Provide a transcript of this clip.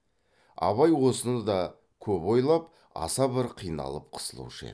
абай осыны да көп ойлап аса бір қиналып қысылушы еді